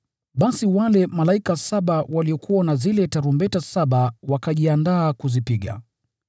Basi wale malaika saba waliokuwa na zile tarumbeta saba wakajiandaa kuzipiga.